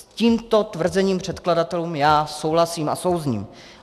S tímto tvrzením předkladatelů já souhlasím a souzním.